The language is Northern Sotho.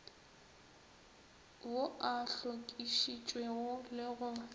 ao a hlokišitšwego le go